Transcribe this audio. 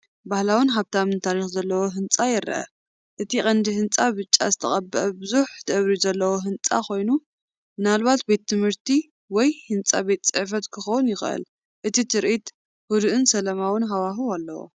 ባህላውን ሃብታምን ታሪኽ ዘለዎ ህንጻ ይረአ፣ እቲ ቀንዲ ህንጻ ብጫ ዝተቐብአ ብዙሕ ደብሪ ዘለዎ ህንጻ ኮይኑ፡ ምናልባት ቤት ትምህርቲ ወይ ህንጻ ቤት ጽሕፈት ክኸውን ይኽእል። እዚ ትርኢት ህዱእን ሰላማውን ሃዋህው ኣለዎ!